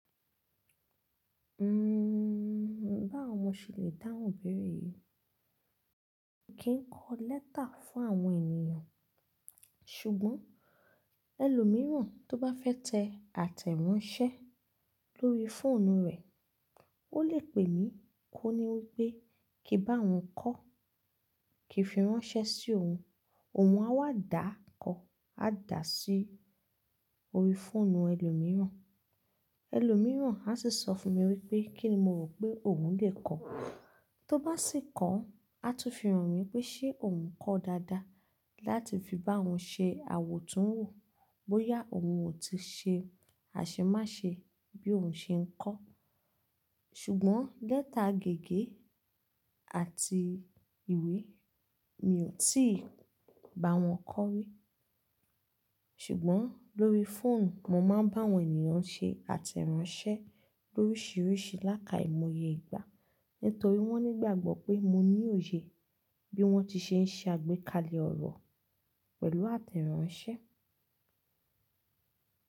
Bá wọ mọ ṣẹ lè dáhùn ibéère yi Mi kì ń kọ lẹ́tà fún àwọn ènìyàn. Ṣùgbọ́n ẹlòmíràn tó bá fẹ́ tẹ àtẹ̀ránsẹ́ lórí fóònù rẹ̀, ó lè pè mí kó ni wípé kí n bá òun kọ́ kí fi ránṣẹ́ sí òun. Òun a wà dá kọ́, a dà á sí orí fóònù ẹlòmíràn. Ẹlòmíràn a sì sọ fún mi wípé kí ni mo rò pé òun lè kọ́. Tó bá sì kọ́, a tún fi ràn mí pé ṣé òun kọ́ dáadáa láti fi bá òun ṣe àwòtúnwò bóyá òun ò ti ṣe àṣemáṣe bí òun ṣe ń kọ́. Ṣùgbọ́n lẹ́tà gègé àti ìwé mi ò tí ì bá wọn kọ́ rí. Ṣùgbọ́n lórí fóònù mo má a ń bá àwọn ènìyàn ṣe àtẹ̀ránsẹ́ lórísìírísìí lákaìmoye ìgbà nítorí wọ́n nígbàgbọ́ pé mo ní òye bí wọ́n ti ṣe ń ṣe àgbékalẹ̀ ọ̀rọ̀ pẹ̀lú àtẹ̀ránsẹ́.